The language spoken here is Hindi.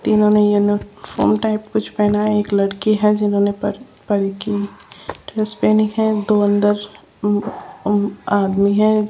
तीनों ने येलो फोम टाइप कुछ पहना है एक लड़की है जिन्होंने पर परी की ड्रेस पहनी है दो अंदर उं आदमी हैं।